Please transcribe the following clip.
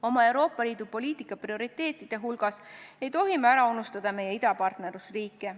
Oma Euroopa Liidu poliitika prioriteetide hulgas ei tohi me ära unustada idapartnerlusriike.